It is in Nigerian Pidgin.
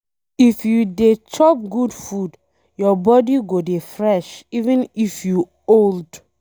If you dey chop good food, your body go dey fresh even if you old